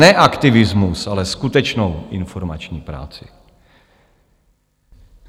Ne aktivismus, ale skutečnou informační práci.